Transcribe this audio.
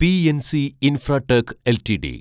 PNC Infratech LTD